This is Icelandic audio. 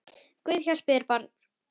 Guð hjálpi þér barn!